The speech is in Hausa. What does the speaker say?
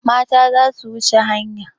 Mata za su wuce hanya.